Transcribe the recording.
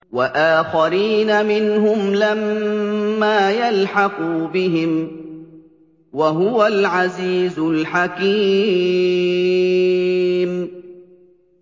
وَآخَرِينَ مِنْهُمْ لَمَّا يَلْحَقُوا بِهِمْ ۚ وَهُوَ الْعَزِيزُ الْحَكِيمُ